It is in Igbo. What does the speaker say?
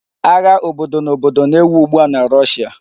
Agha obodo na obodo na-ewu ugbua na Russia